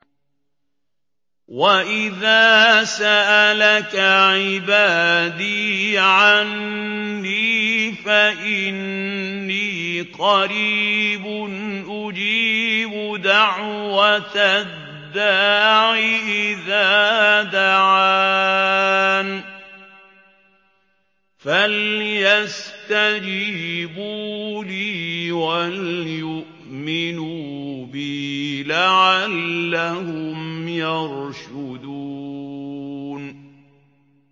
وَإِذَا سَأَلَكَ عِبَادِي عَنِّي فَإِنِّي قَرِيبٌ ۖ أُجِيبُ دَعْوَةَ الدَّاعِ إِذَا دَعَانِ ۖ فَلْيَسْتَجِيبُوا لِي وَلْيُؤْمِنُوا بِي لَعَلَّهُمْ يَرْشُدُونَ